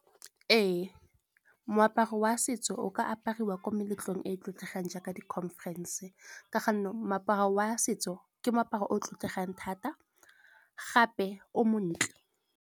Ee, moaparo wa setso o ka apariwa ko meletlong e e tlotlegang jaaka di-conference. Ka go nna moaparo wa setso ke moaparo o tlotlegang thata gape o montle.